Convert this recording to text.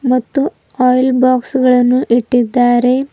ಮತ್ತು oil box ಗಳನ್ನು ಇಟ್ಟಿದ್ದಾರೆ.